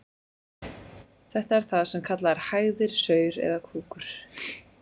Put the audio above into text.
Þetta er það sem kallað er hægðir, saur eða kúkur.